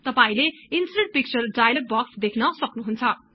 तपाईले insert picture dialog box देख्न सक्नुहुन्छ